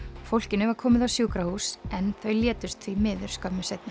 fólkinu var komið á sjúkrahús en þau létust skömmu seinna